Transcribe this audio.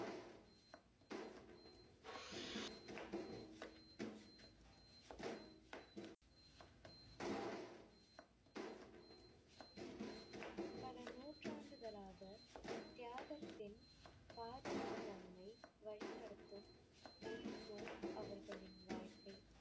பல நூற்றாண்டுகளாகத் தியாகத்தின் பாதையின் வழிநடத்தும் அவர்களின் வாழ்க்கை.